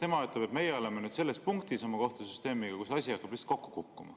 Sest tema ütleb, et meie oleme nüüd oma kohtusüsteemiga selles punktis, kus asi hakkab kokku kukkuma.